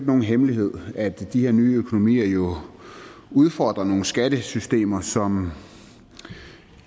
nogen hemmelighed at de her nye økonomier udfordrer nogle skattesystemer som